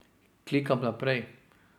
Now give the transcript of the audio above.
Klikam naprej.